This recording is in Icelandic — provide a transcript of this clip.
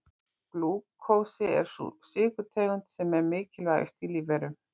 Glúkósi er sú sykurtegund sem er mikilvægust í lífverum.